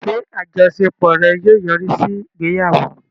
Ṣé àjọṣepọ̀ rẹ̀ yóò yọrí sí ìgbéyàwó?